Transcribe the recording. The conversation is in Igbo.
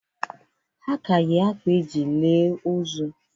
Ha ka yi akwa eji lie ozu